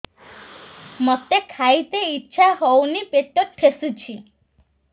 ମୋତେ ଖାଇତେ ଇଚ୍ଛା ହଉନି ପେଟ ଠେସୁଛି